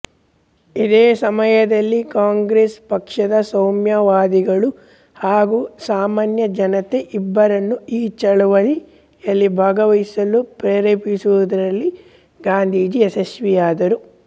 ಇದೇ ಸಮಯದಲ್ಲಿ ಕಾಂಗ್ರೆಸ್ ಪಕ್ಷದ ಸೌಮ್ಯವಾದಿಗಳು ಹಾಗು ಸಾಮಾನ್ಯ ಜನತೆಇಬ್ಬರನ್ನು ಈ ಚಳುವಳಿಯಲ್ಲಿ ಭಾಗವಹಿಸಲು ಪ್ರೇರೇಪಿಸುವುದರಲ್ಲಿ ಗಾಂಧೀಜಿ ಯಶಸ್ವಿಯಾದರು